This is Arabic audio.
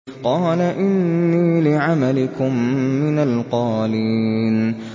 قَالَ إِنِّي لِعَمَلِكُم مِّنَ الْقَالِينَ